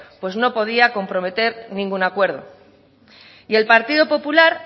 pues no podía comprometer ningún acuerdo y el partido popular